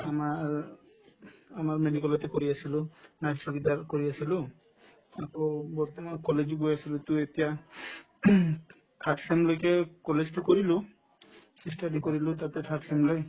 তোমাৰ আমাৰ medical তে কৰি আছিলো night চকীদাৰ কৰি আছিলো আকৌ বৰ্তমান college ও গৈ আছিলো to এতিয়া third sem লৈকে college তো কৰিলো ই study কৰিলো তাতে third sem লে